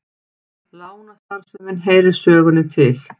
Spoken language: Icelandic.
Lánastarfsemin heyrir sögunni til